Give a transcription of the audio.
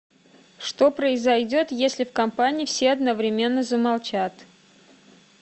что произойдет если в компании все одновременно замолчат